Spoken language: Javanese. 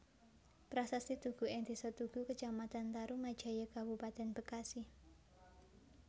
Prasasti Tugu ing Desa Tugu Kecamatan Tarumajaya Kabupaten Bekasi